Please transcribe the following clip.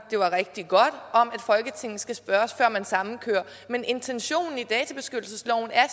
det var rigtig godt om at folketinget skal spørges før man sammenkører men intentionen i databeskyttelsesloven er